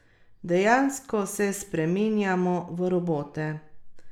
Dejansko se spreminjamo v robote.